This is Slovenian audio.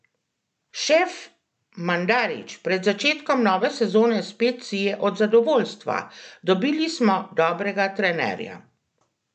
Šef Mandarić pred začetkom nove sezone spet sije od zadovoljstva: "Dobili smo dobrega trenerja.